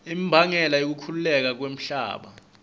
imbangela yekukhukhuleka kwemhlaba